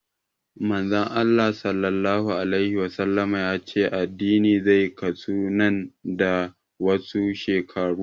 Manzon Allah Sallallahu alaihi Wasallama ya ce addini zai kasu nan da wasu shekaru